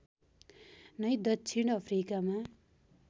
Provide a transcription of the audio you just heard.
नै दक्षिण अफ्रिकामा